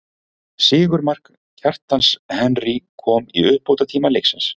Sigurmark, Kjartans Henry kom í uppbótartíma leiksins.